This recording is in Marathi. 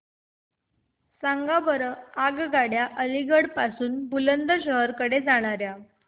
सांगा बरं आगगाड्या अलिगढ पासून बुलंदशहर कडे जाणाऱ्या